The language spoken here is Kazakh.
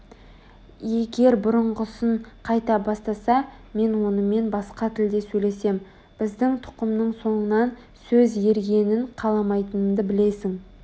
егер бұрынғысын қайта бастаса мен онымен басқа тілде сөйлесем біздің тұқымның соңынан сөз ергенін қаламайтынымды білесің